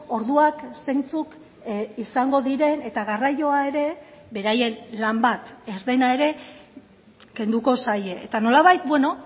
orduak zeintzuk izango diren eta garraioa ere beraien lan bat ez dena ere kenduko zaie eta nolabait beno